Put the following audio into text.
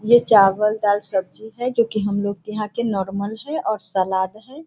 ये चावल दाल सब्जी है जो कि हमलोग के यहां के नॉर्मल है और सलाद है।